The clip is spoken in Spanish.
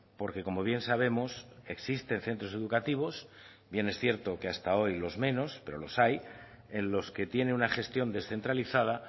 porque como bien sabemos existen centros educativos bien es cierto que hasta hoy los menos pero los hay en los que tiene una gestión descentralizada